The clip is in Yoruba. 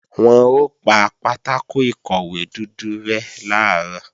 Wọn ó pa pátákò ìkọ̀wé dúdú rẹ́ làárọ̀